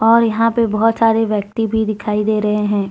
और यहां पे बहुत सारे व्यक्ति भी दिखाई दे रहे हैं ।